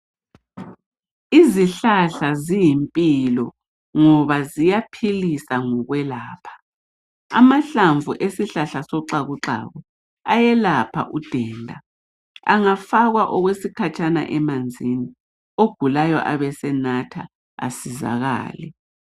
izihlahla ziyimpilo ngoba ziyaphilisa ngokwelapha amahlamvu wesihlahla sexakuxaku alusizo ngoba ayelapha udenda angafakwa okwesikhatshana emanzini ogulayo ebesenatha asizakale